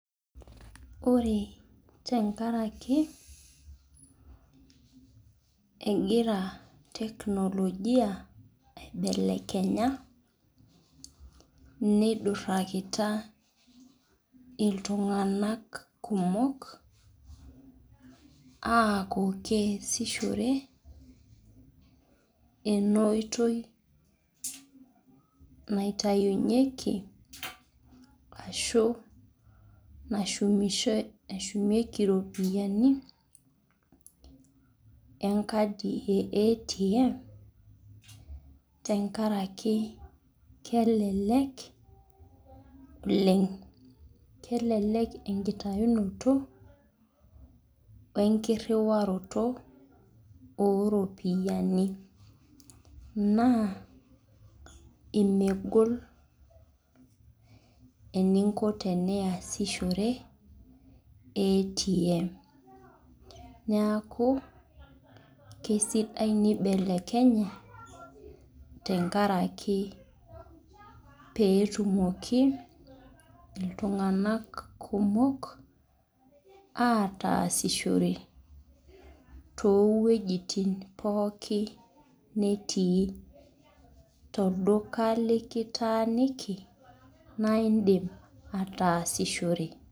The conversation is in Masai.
Ore te nkaraki egira tecnologia aibelekenya neidurakita ltunganak kumok aaku kesishore ena oitoi naitayunyieki aashu nashumieki ropiyiani enkadi ee atm enkaraki kelek oleng kelelek enkitayunoto oo enkiriwaroto oo ropiyiani naa imegol eningo te niyasishore atm niaku kaisidai neibelekenye te nkaraki pee etumoki ltunganak kumok aatasishore too wuejitin pookin netii too lduka likitaaniki naa idim ataasishore